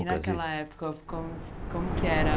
E naquela época, como como que era?